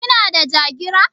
Kina da Jagira?